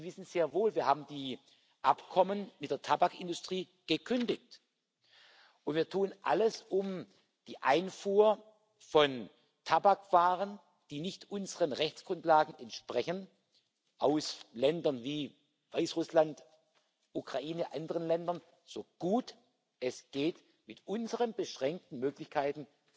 Sie wissen sehr wohl Wir haben die Abkommen mit der Tabakindustrie gekündigt und tun alles, um die Einfuhr von Tabakwaren, die nicht unseren Rechtsgrundlagen entsprechen, aus Ländern wie Weißrussland, der Ukraine und anderen Ländern so gut es geht mit unseren beschränkten Möglichkeiten